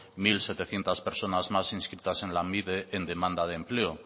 mil setecientos personas más inscritas en lanbide en demanda de empleo